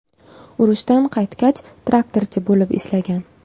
Urushdan qaytgach, traktorchi bo‘lib ishlagan.